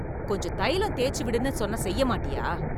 கொஞ்சம் தைலம் தேய்ச்சு விடுன்னு சொன்னா செய்ய மாட்டியா?